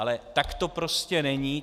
Ale tak to prostě není.